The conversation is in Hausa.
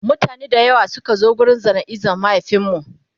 mutane da yawa Suka zo wurin jana'izar mahaifinmu